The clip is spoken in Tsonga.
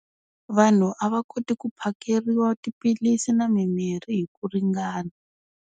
Vanhu a va koti ku phakeriwa tiphilisi na mimirhi hi ku ringana.